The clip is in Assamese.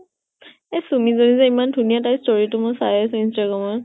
এই চুমি জনী যে ইমান ধুনীয়া, তাইৰ story টো মই চাই আছো instagram ত